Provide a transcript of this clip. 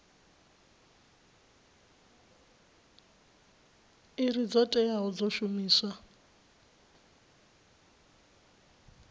iri dzo teaho dzo shumiwaho